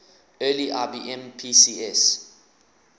early ibm pcs